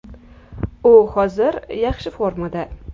U hozir yaxshi formada.